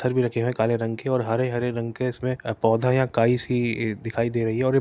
पत्थर भी रखे हुए है काले रंग के और हरे हरे रंग के उसमे अ पौधे है आ काई सी ई दिखाई दे रही है और --